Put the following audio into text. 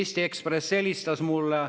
Eesti Ekspressist helistati mulle.